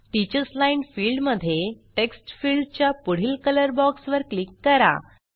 teachers line field मध्ये text field च्या पुढील कलर बॉक्स वर क्लिक करा